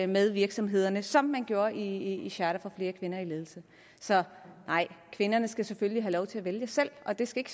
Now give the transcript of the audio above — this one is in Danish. med virksomhederne som man gjorde i i charter for flere kvinder i ledelse så kvinderne skal selvfølgelig have lov til at vælge selv og det skal